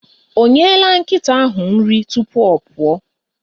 Ọ nyela nkịta ahụ nri tupu ọ pụọ?